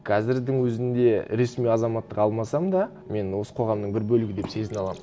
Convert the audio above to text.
қазірдің өзінде ресми азаматтық алмасам да мен осы қоғамның бір бөлігі деп сезіне аламын